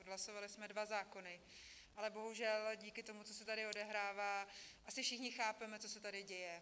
Odhlasovali jsme dva zákony, ale bohužel díky tomu, co se tady odehrává, asi všichni chápeme, co se tady děje.